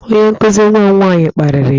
Onye nkụzi nwa m nwaanyị kparịrị ya.